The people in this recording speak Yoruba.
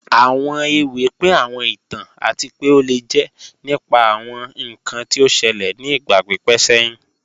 Awọn èwì pín àwọn ìtàn àti pẹ́ o lè jẹ́ nípà àwọn ìkàn tí ó ṣèlẹ̀ ni ìgba pípẹ̀ sẹ̀hin